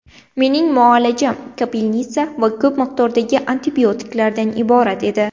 Mening muolajam ‘kapelnitsa’ va ko‘p miqdordagi antibiotiklardan iborat edi.